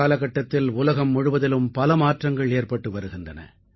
காலகட்டத்தில் உலகம் முழுவதிலும் பல மாற்றங்கள் ஏற்பட்டு வருகின்றன